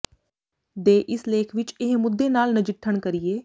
ਦੇ ਇਸ ਲੇਖ ਵਿਚ ਇਹ ਮੁੱਦੇ ਨਾਲ ਨਜਿੱਠਣ ਕਰੀਏ